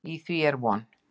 Í því er von.